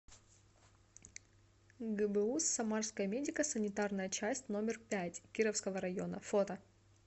гбуз самарская медико санитарная часть номер пять кировского района фото